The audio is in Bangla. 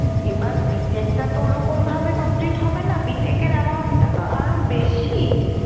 এবার BTech টা তো ওরকম ভাবে complete হবে না BTech এর টা তো আরো বেশি।